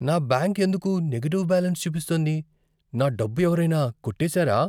నా బ్యాంక్ ఎందుకు negative balance చూపిస్తోంది? నా డబ్బు ఎవరైనా కొట్టేసారా?